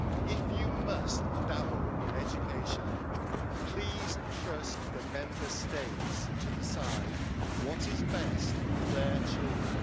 If you must dabble in education, please trust the Member States to decide what is best for their children.